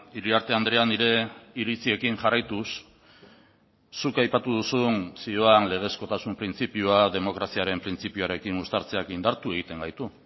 iriarte andrea nire iritziekin jarraituz zuk aipatu duzun zioan legezkotasun printzipioa demokraziaren printzipioarekin uztartzeak indartu egiten gaitu